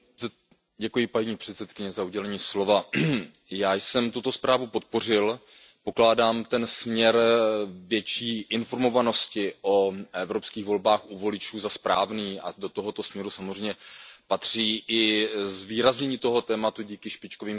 Paní předsedající, já jsem tuto zprávu podpořil, pokládám ten směr větší informovanosti o evropských volbách u voličů za správný a do tohoto směru samozřejmě patří i zvýraznění toho tématu díky špičkovým kandidátům.